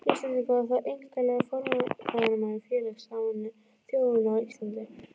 Íslendinga, og þá einkanlega forráðamanna Félags Sameinuðu þjóðanna á Íslandi.